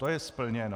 To je splněno.